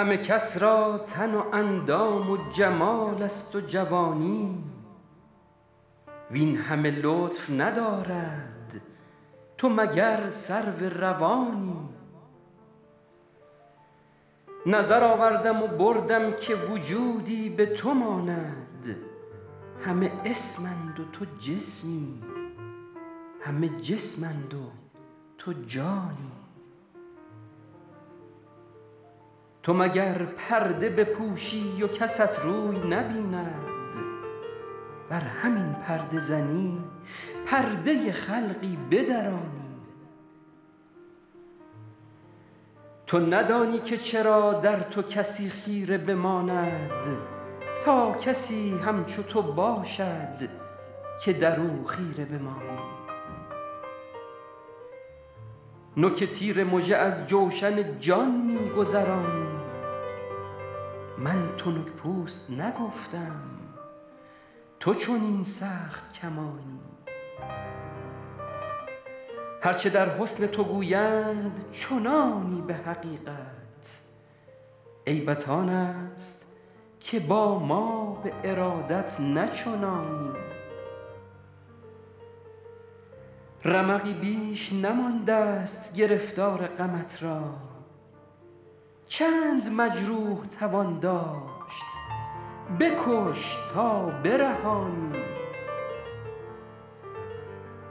همه کس را تن و اندام و جمال است و جوانی وین همه لطف ندارد تو مگر سرو روانی نظر آوردم و بردم که وجودی به تو ماند همه اسم اند و تو جسمی همه جسم اند و تو جانی تو مگر پرده بپوشی و کست روی نبیند ور همین پرده زنی پرده خلقی بدرانی تو ندانی که چرا در تو کسی خیره بماند تا کسی همچو تو باشد که در او خیره بمانی نوک تیر مژه از جوشن جان می گذرانی من تنک پوست نگفتم تو چنین سخت کمانی هر چه در حسن تو گویند چنانی به حقیقت عیبت آن است که با ما به ارادت نه چنانی رمقی بیش نمانده ست گرفتار غمت را چند مجروح توان داشت بکش تا برهانی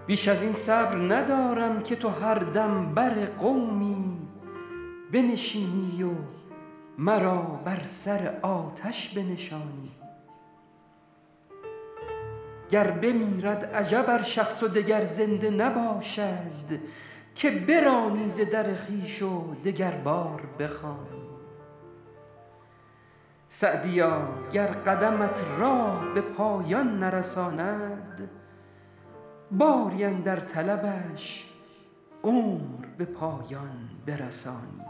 بیش از این صبر ندارم که تو هر دم بر قومی بنشینی و مرا بر سر آتش بنشانی گر بمیرد عجب ار شخص و دگر زنده نباشد که برانی ز در خویش و دگربار بخوانی سعدیا گر قدمت راه به پایان نرساند باری اندر طلبش عمر به پایان برسانی